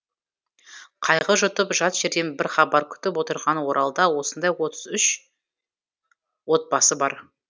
қайғы жұтып жат жерден бір хабар күтіп отырған оралда осындай отыз үш отбасы бар